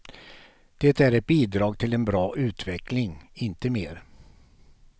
Det är ett bidrag till en bra utveckling, inte mer.